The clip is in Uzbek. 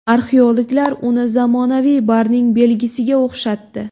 Arxeologlar uni zamonaviy barning belgisiga o‘xshatdi.